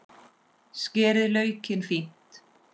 Skerið laukinn fínt.